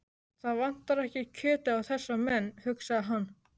Það vantar ekki kjötið á þessa menn, hugsaði hann.